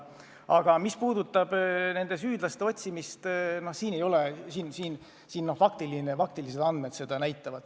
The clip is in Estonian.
Aga mis puudutab süüdlaste otsimist, siis faktid räägivad enda eest.